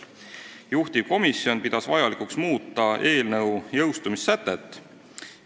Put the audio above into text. Juhtivkomisjon pidas vajalikuks muuta eelnõu jõustumissätet.